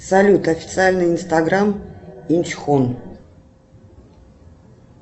салют официальный инстаграм инчхон